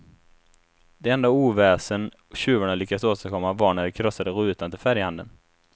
Det enda oväsen tjuvarna lyckades åstadkomma var när de krossade rutan till färghandeln.